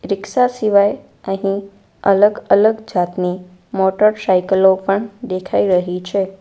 Rickshaw સિવાય અહીં અલગ-અલગ જાતની મોટરસાઈકલો પણ દેખાઈ રહી છે.